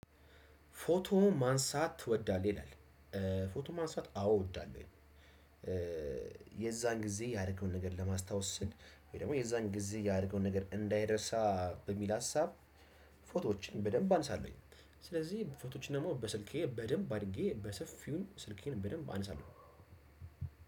ፎቶ ማንሳት ትወዳለህ? ይላል ፎቶ ማንሳት አዎ እወዳለሁኝ። የዛን ጊዜ ያደረገውን ነገር ለማስታወስ ስል ወይ ደግሞ የዛን ጊዜ ያደረገውን ነገር እንዳይረሳ በሚል ሀሳብ ፎቶዎችን በደንብ አንሳለሁኝ። ስለዚህ ፎቶዎችን ደግሞ በስልኬ በደንብ አድርጌ በሰፊው ስልኬን በደንብ አነሳለሁ።